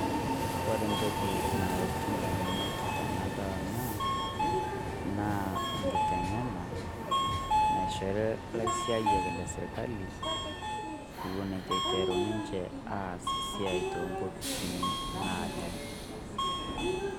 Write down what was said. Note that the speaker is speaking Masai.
Kore entoki nalotu edamunot tenadol ena naa engitenge'ena naishori ilaiteng'enak lesirkali eiton eiteru ninche aas esiai too nkopisini naaje.